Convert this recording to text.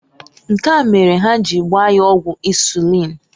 Nkea mere ha ji gbaa ya ọgwụ insuliin.